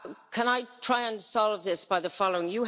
Can I try and solve this by the following?